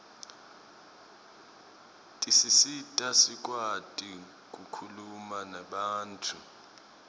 tisisita sikwati kukhuluma nebantfu